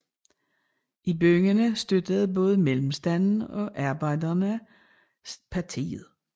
I byerne støttede både mellemstanden og arbejderne partiet